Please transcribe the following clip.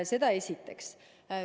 Seda esiteks.